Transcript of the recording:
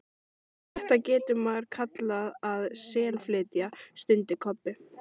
Þetta getur maður kallað að SELflytja, stundi Kobbi.